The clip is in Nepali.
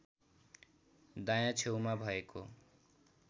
दायाँ छेउमा भएको